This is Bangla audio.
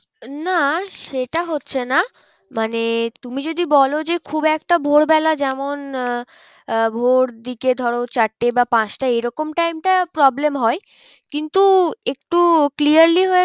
না সেটা হচ্ছে না। মানে তুমি যদি বলো যে খুব একটা ভোর বেলা যেমন আহ আহ ভোর দিকে ধরো চারটে বা পাঁচটা এরকম time টা problem হয়। কিন্তু একটু clearly হয়ে